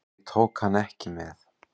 Ég tók hann ekki með.